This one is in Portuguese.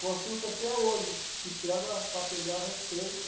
Consulto até hoje, e pega para pegar receita.